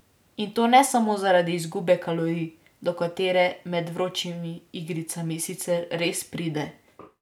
In to ne samo zaradi izgube kalorij, do katere med vročimi igricami sicer res pride.